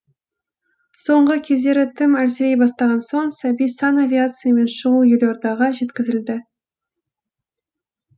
соңғы кездері тым әлсірей бастаған соң сәби санавиациямен шұғыл елордаға жеткізілді